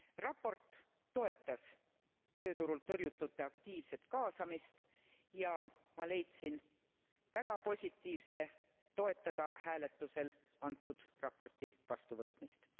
Raport toetas tööturult tõrjutute aktiivset kaasamist ja ma leidsin olevat väga positiivse toetada hääletusel antud raporti vastuvõtmist.